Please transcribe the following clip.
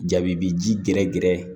Jaabi bi ji gɛrɛgɛrɛ